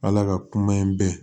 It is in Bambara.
Ala ka kuma in bɛɛ